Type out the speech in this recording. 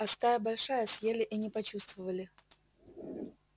а стая большая съели и не почувствовали